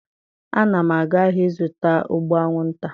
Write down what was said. A na m aga ahịa ịzụta ụgbụ anwụnta.